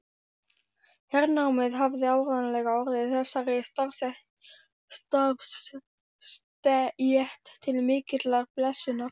Hernámið hafði áreiðanlega orðið þessari starfsstétt til mikillar blessunar.